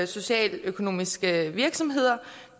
socialøkonomiske virksomheder